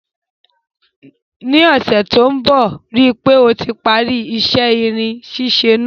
Ní ọ́sẹ̀ to n bo, rípe o ti parí isẹ́ irin sísẹ náà